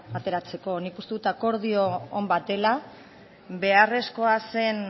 ateratzeko nik uste dut akordio on bat dela beharrezkoa zen